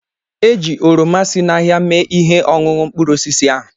Eji oroma si n'ahịa mee ihe ọṅụṅụ mkpụrụ osisi ahụ